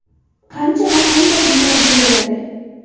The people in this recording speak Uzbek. Qancha va qanday uylar beriladi?